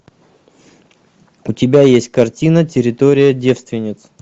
у тебя есть картина территория девственниц